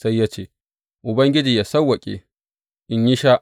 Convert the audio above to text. Sai ya ce, Ubangiji yă sawwaƙe, in yi sha!